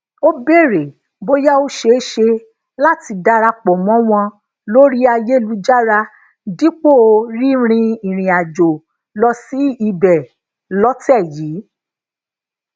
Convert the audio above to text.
ó béèrè bóyá ó ṣeé ṣe láti darapò mó wọn lori ayelujara dipo rínrin ìrìàjò lọ si ibe lọtè yìí